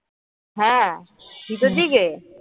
হ্যাঁ ভিতর দিকে